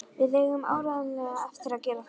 Við eigum áreiðanlega eftir að gera það.